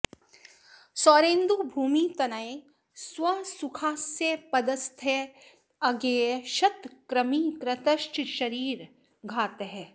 सौरेन्दु भूमि तनयैः स्व सुखास्पदस्थैर्ज्ञेयः क्षत कृमि कृतश्च शरीर घातः